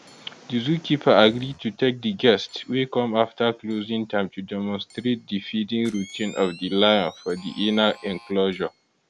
di zookeeper agree to take di guests wey come afta closing time to demonstrate di feeding routine of di lion for di inner enclosure